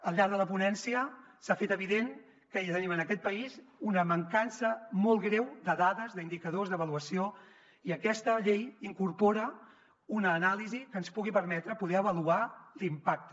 al llarg de la ponència s’ha fet evident que tenim en aquest país una mancança molt greu de dades d’indicadors d’avaluació i aquesta llei incorpora una anàlisi que ens pugui permetre poder avaluar ne l’impacte